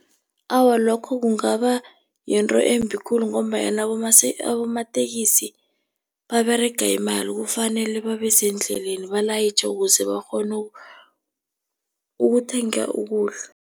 Awa, lokho kungaba yinto embi khulu, ngombanyana abomatekisi baberega imali, kufanele babe sendleleni balayitjhe ukuze bakghone ukuthenga ukudla.